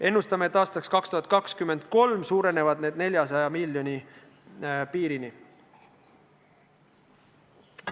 Ennustame, et aastaks 2023 jõuab see summa 400 miljoni piirini.